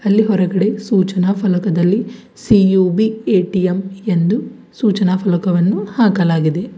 ಅಲ್ಲಿ ಹೊರಗಡೆ ಸೂಚನಾ ಫಲಕದಲ್ಲಿ ಸಿ_ಒ_ಬಿ ಎ_ಟಿ_ಎಂ ಎಂದು ಸೂಚನಾ ಫಲಕವನ್ನು ಹಾಕಲಾಗಿದೆ.